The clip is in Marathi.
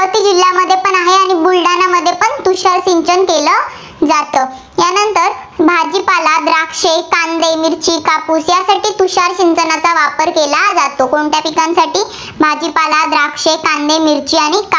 तुषार सिंचन केलं जातं. यानंतर भाजीपाला, द्राक्षे, कांदे, मिरची, कापूस यासाठी तुषार सिंचनाचा वापर केला जातो. कोणत्या पिकांसाठी? भाजीपाला, द्राक्षे, कांदे, मिरच्या आणि कापूस